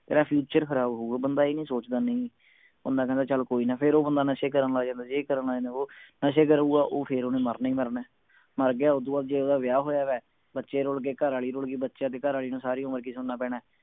ਤੇਰਾ future ਖਰਾਬ ਹੋਊਗਾ ਬੰਦਾ ਇਹ ਨਹੀਂ ਸੋਚਦਾ ਨਹੀਂ ਬੰਦਾ ਕਹਿੰਦੇ ਚੱਲ ਕੋਈ ਨਾ ਫੇਰ ਉਹ ਬੰਦਾ ਨਸ਼ੇ ਕਰਨ ਲੱਗ ਜਾਂਦੇ ਏ ਕਰਨ ਲੱਗ ਜਾਂਦੇ ਵੋ ਨਸ਼ੇ ਕਰੂਗਾ ਉਹ ਫੇਰ ਓਹਨੇ ਮਰਨਾ ਹੀ ਮਰਨੇ ਮਰ ਗਿਆ ਫੇਰ ਓਦੂੰ ਬਾਅਦ ਜੇ ਓਹਦਾ ਵਿਆਹ ਹੋਇਆ ਵਿਆ ਬੱਚੇ ਰੁੱਲ ਗਏ ਘਰਆਲੀ ਰੁੱਲ ਗਈ ਬੱਚਿਆਂ ਤੇ ਘਰਆਲੀ ਨੂੰ ਸਾਰੀ ਉਮਰ ਸੁਣਨਾ ਪੈਣੇ